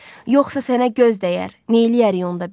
Yoxsa sənə göz dəyər, neyləyərik onda biz?